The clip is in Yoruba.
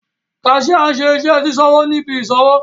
Cashier nṣe iṣẹ sisanwo ni ibi isanwo.